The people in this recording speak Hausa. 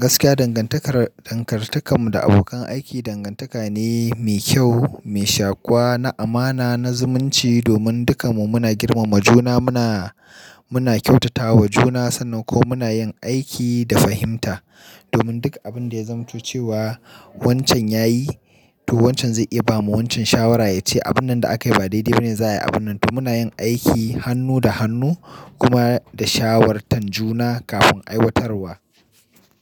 Gaskiya dangantakar, dangantakar mu da abokan aiki dangantaka ne mai kyau, mai shaƙuwa, na amana, na zumunci domin dukanmu muna girmama juna. Muna, muna kyautatawa juna sannan kuma muna yin aiki da fahimta domin duk abin da ya zamto cewa wancan yayi, to wancan zai iya bawa wancan shawara, ya ce abun nan da aka yi ba daidai ba ne, za a yi abun nan. To muna yin aiki hannu da hannu kuma da shawartan juna kafin aiwatarwa.